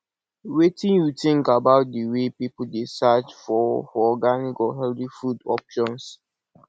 wetin you think about di way people dey search for for organic or healthy food options